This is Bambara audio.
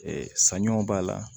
Ɛɛ sanɲɔ b'a la